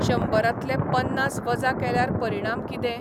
शंबरांतले पन्नास वजा केल्यार परिणाम किदें ?